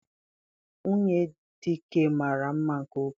Nwunye Dike mara mma nke ukwuu.